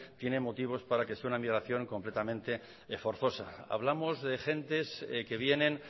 tienen motivos para que sea una emigración completamente forzosa hablamos de gentes que vienen